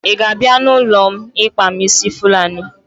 Ị ga-abịa n'ụlọ m ịkpa m ísí Fulani?